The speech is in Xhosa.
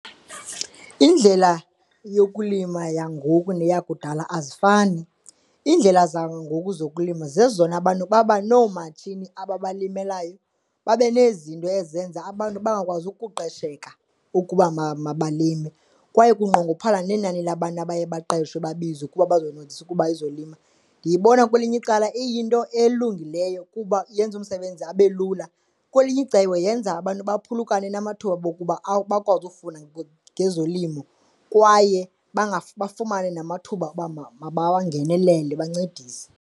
Indlela yokulima yangoku neyakudala azifani, iindlela zangoku zokulima zezona abantu babanoomatshini ababalimelayo, babe nezinto ezenza abantu bangakwazi ukuqesheka ukuba mabalime. Kwaye kunqongophala nenani labantu abaye baqeshwe babizwe kuba bazoncedisa ukuba ezolimo. Ndiyibona kwelinye icala iyinto elungileyo kuba yenza umsebenzi abe lula, kwelinye icebo yenza abantu baphulukane namathuba okuba bakwazi ukufunda ngezolimo kwaye bangafumani namathuba okuba bawangenelele bancedise.